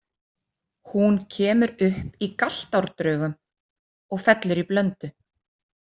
Hún kemur upp í Galtarárdrögum og fellur í Blöndu.